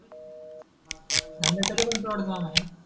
धंदा कडे पण तेवड काम आहेणा